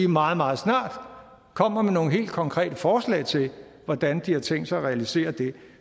meget meget snart kommer med nogle helt konkrete forslag til hvordan de har tænkt sig at realisere det